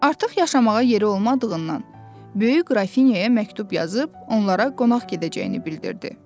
Artıq yaşamağa yeri olmadığından, böyük qrafinyaya məktub yazıb onlara qonaq gedəcəyini bildirdi.